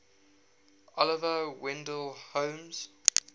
oliver wendell holmes